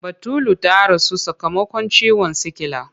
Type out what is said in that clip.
Batulu ta rasu sakamakon ciwon sikila.